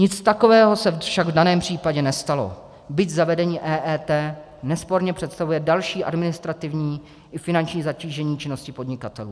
Nic takového se však v daném případě nestalo, byť zavedení EET nesporně představuje další administrativní i finanční zatížení činnosti podnikatelů.